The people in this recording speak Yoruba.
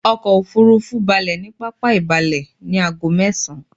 Ọkò òfurufú balẹ̀ ní pápá ìbalẹ ní ago mẹ́esan